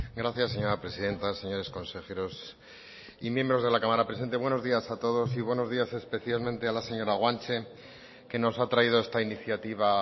gracias señora presidenta señores consejeros y miembros de la cámara presente buenos días a todos y buenos días especialmente a la señora guanche que nos ha traído esta iniciativa